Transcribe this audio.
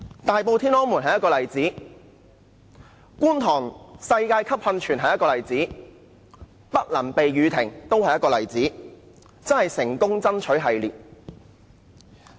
大埔"天安門"是一個例子，觀塘的"世界級"音樂噴泉是一個例子，"不能避雨亭"都是一個例子，的確是"成功爭取"系列。